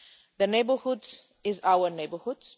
Their neighbourhood is our neighbourhood.